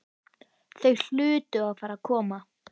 Þau hlutu að fara að koma.